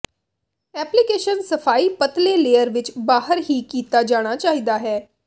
application ਸਫ਼ਾਈ ਪਤਲੇ layer ਵਿੱਚ ਬਾਹਰ ਹੀ ਕੀਤਾ ਜਾਣਾ ਚਾਹੀਦਾ ਹੈ